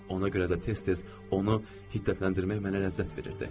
Ona görə də tez-tez onu hiddətləndirmək mənə ləzzət verirdi.